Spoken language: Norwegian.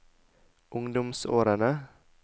ungdomsårene